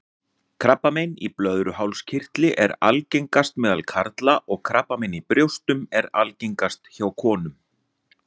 Krabbamein í blöðruhálskirtli er algengast meðal karla og krabbamein í brjóstum er algengast hjá konum.